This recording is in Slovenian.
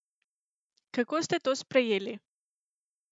Kako ste to sprejeli?